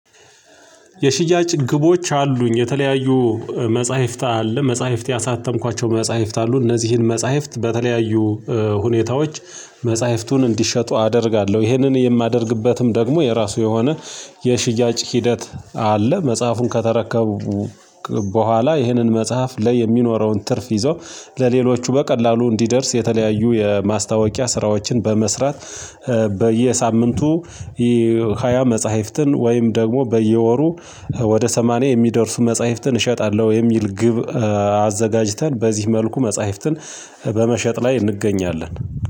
የሽያጭ ግቦች አሉኝ። የተለያዩ መጽሐፍት አለ መጽሐፍት ያሳተምኳቸው መጽሐፍት አሉ። እነዚህን መጽሐፍት በተለያዩ ሁኔታዎች መጽሐፍቱን እንዲሸጡ አደርጋለሁ። ይህንን የማደርግበትም ደግሞ የራሱ የሆነ የሽያጭ ሂደት አለ። መጽሐፉን ከተረከቡ በኋላ ይህንን መጽሐፍ ላይ የሚኖረውን ትርፍ ይዘው ለሌሎቹ በቀላሉ እንዲደርስ የተለያዩ የማስታወቂያ ስራዎችን በመስራት በየሳምንቱ ሃያ መጽሐፍትን ወይም ደግሞ በየወሩ ወደ ሰማንያ የሚደርሱ መጽሐፍትን እሸጣለሁ የሚል ግብ አዘጋጅተን በዚህ መልኩ መጽሐፍትን በመሸጥ ላይ እንገኛለን።